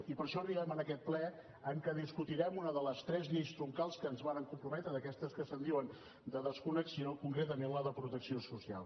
i per això arribem a aquest ple en què discutirem una de les tres lleis troncals a què ens vàrem comprometre d’aquestes que se’n diuen de desconnexió concretament la de protecció social